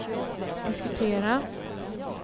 diskutera